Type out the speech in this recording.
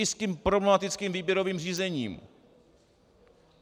I s tím problematickým výběrovým řízením.